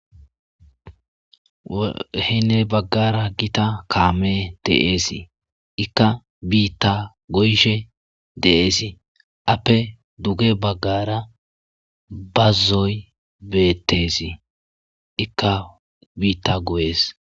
Henni baggara giiththa kamme de'essi. Ikka biththa go'ishe de'essi. Ape dugge bagara bazoy bettes. Ikka bitta goyes.